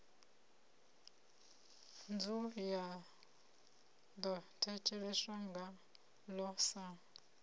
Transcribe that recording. ya ḓo thetsheleswa ngaḽo sa